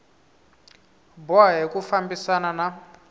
boha hi ku fambisana na